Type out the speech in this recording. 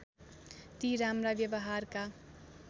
ती राम्रा व्यवहारका